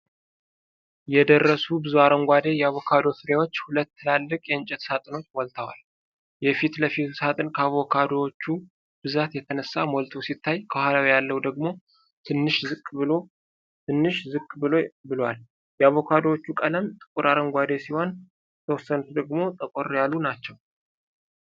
የደረሱ ብዙ አረንጓዴ የአቮካዶ ፍሬዎች ሁለት ትላልቅ የእንጨት ሳጥኖችን ሞልተዋል፡። የፊት ለፊቱ ሳጥን ከአቮካዶዎቹ ብዛት የተነሳ ሞልቶ ሲታይ ከኋላው ያለው ደግሞ ትንሽ ዝቅ ብሎ ብሏል። የአቮካዶዎቹ ቀለም ጥቁር አረንጓዴ ሲሆን የተወሰኑት ደግሞ ጠቆር ያሉ ናቸው፡።